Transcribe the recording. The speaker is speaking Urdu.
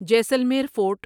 جیسلمیر فورٹ